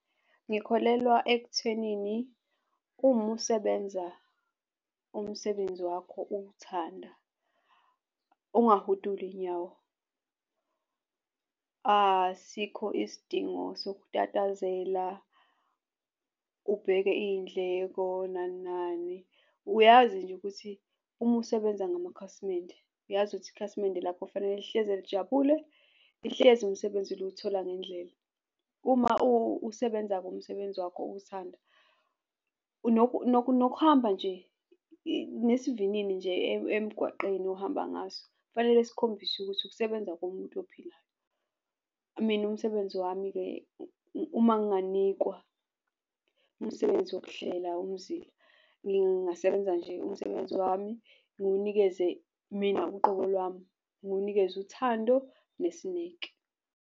Ngikholelwa ekuthenini uma usebenza umsebenzi wakho uwuthanda ungahudu inyawo. Asikho isidingo sokutatazela, ubheke iy'ndleko nani nani. Uyazi nje ukuthi uma usebenza ngamakhasimende uyazi ukuthi ikhasimende lakho fanele lihleze lijabule, lihlezi umsebenzi liwuthola ngendlela. Uma usebenza kumsebenzi wakho uwuthanda nokuhamba nje nesivinini nje emgwaqeni ohamba ngaso kufanele sikhombise ukuthi ukusebenza komuntu ophilayo. Mina umsebenzi wami-ke, uma nginganikwa umsebenzi wokuhlela umzila, ngingasebenza nje umsebenzi wami ngiwanikeze mina uqobo lwami, ngiwunikeze uthando nesineke.